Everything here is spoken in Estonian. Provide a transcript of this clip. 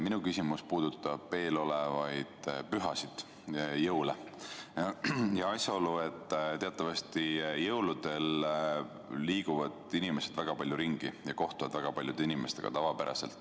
Minu küsimus puudutab eelolevaid pühasid, jõule, ja asjaolu, et teatavasti jõulude ajal liiguvad inimesed väga palju ringi ja kohtuvad väga paljude inimestega.